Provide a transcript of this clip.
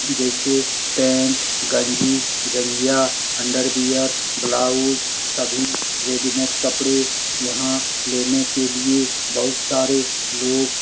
जैसे पेंट गंजी जंगिया अंडरवियर ब्लाउज सभी रेडीमेड कपड़े यहाँ लेने के लिए बहोत सारे लोग --